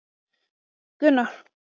Til hvers voru líka þessi fávíslegu próf?